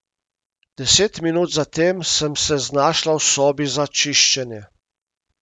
Deset minut za tem sem se znašla v sobi za čiščenje.